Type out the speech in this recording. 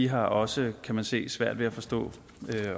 har også kan man se svært ved at forstå